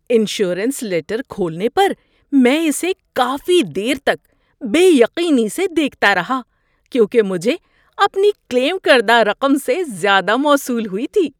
Insurance letter کھولنے پر میں اسے کافی دیر تک بے یقینی سے دیکھتا رہا کیونکہ مجھے اپنی کلیم کردہ رقم سے زیادہ موصول ہوئی تھی۔